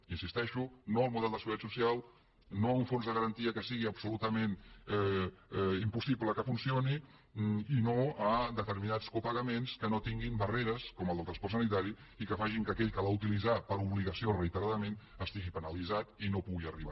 hi insisteixo no al model de seguretat social no a un fons de garantia que sigui absolutament impossible que funcioni i no a determinats copagaments que no tinguin barreres com el del transport sanitari i que facin que aquell que l’ha d’utilitzar per obligació reiteradament estigui penalitzat i no hi pugui arribar